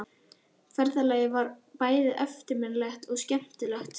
Ferðalagið var bæði eftirminnilegt og skemmtilegt.